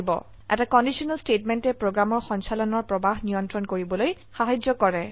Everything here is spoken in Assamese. এটা কন্ডিশনেল স্টেটমেন্টে প্ৰোগ্ৰামৰ সঞ্চালনৰ প্ৰবাহ নিয়ন্ত্ৰণ কৰিবলৈ সাহায্য কৰে